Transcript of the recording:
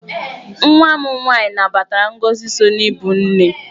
Nwa m nwaanyị nabatara ngọzị so n'ibụ nne.